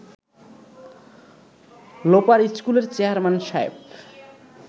লোপার স্কুলের চেয়ারম্যান সাহেব